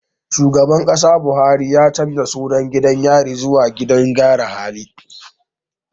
Shugaban Kasa Buhari ya canja sunan gidan yari zuwa gidan gyara hali